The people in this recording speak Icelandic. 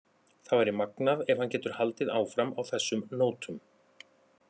Það væri magnað ef hann getur haldið áfram á þessum nótum.